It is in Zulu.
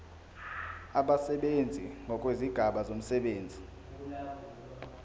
abasebenzi ngokwezigaba zomsebenzi